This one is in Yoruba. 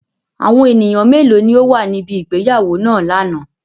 Awọn eniyan melo ni o wa nibi ìgbéyàwó naa lana?